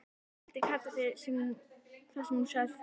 vældi Kata þar sem hún sat föst.